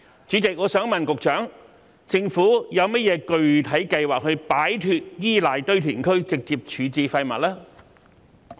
主席，我想問局長，政府有何具體計劃，以擺脫依賴堆填區直接處置廢物？